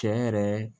Cɛ yɛrɛ